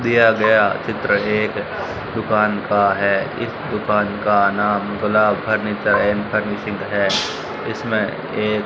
दिया गया चित्र एक दुकान का है इस दुकान का नाम गुलाब फर्नीचर एंड फर्निशिंग है इसमें एक--